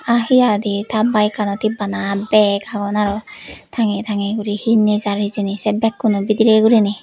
aa hi aadi ta baekkanot hi bana bag agon aro tangey tangey guri hi nejar hijeni sey bag kuno bidire guriney.